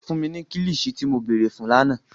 Fun mi ni kilichi ti mo beere fun làná!